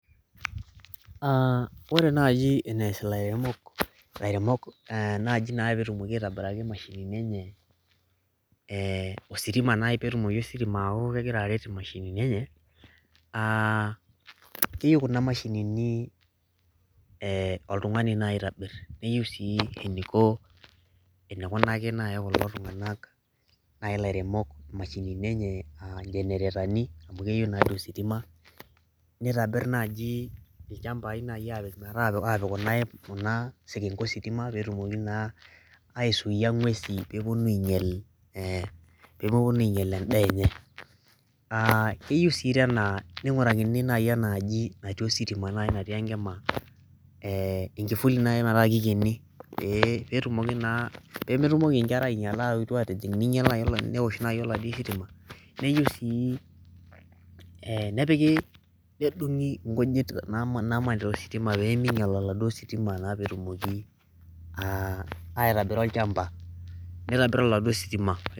ore naaji enes ilairemok najii naa peetumoki aitobiraki imashinini enye ositima naa peetumoki ositima aaku kegira aret imashinini enye keyieu kuna mashinini oltungani nayii oitobir keyieu sii eneiko eneikunaki nayii kulo tung'anak nayii ilairemok imashinini enye aa ijeneretani amu keyieu naa duo ositima nitobir nayii ilchampai naaji apiik meeta aapik kuna kuna sekenke ositima peetumoki naa aisuiia ing'wesin pemeponu ainyal endaa enye keyui sii naing'urakini naaji enaaji natii ositima natii enkima enkifuli nayii metaa keikeni peetumoki naa pemetumoki inkera ainyala aaetu atijing' neinyala newosh naji olatii sitima neyiu sii nepiki nedung'i inkujit naamanita ositima pemeinyal oladuoo sitima peetumoki aitobira olchampa neitobirr oladuo sitima.